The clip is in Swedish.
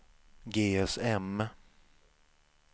GSM